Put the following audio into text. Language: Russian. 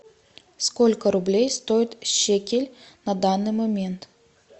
сколько рублей стоит шекель на данный момент